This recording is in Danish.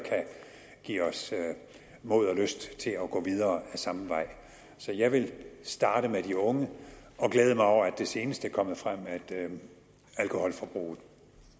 give os mod og lyst til at gå videre ad samme vej så jeg vil starte med de unge og glæde mig over at det senest er kommet frem at alkoholforbruget